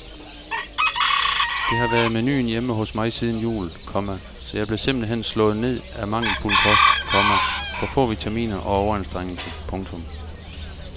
Det har været menuen hjemme hos mig siden jul, komma så jeg blev simpelt hen slået ned af mangelfuld kost, komma for få vitaminer og overanstrengelse. punktum